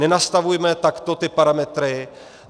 Nenastavujme takto ty parametry.